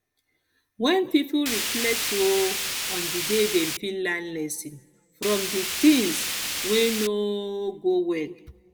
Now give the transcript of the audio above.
when pipo reflect um on di day dem fit learn lesson from di things um wey no um go well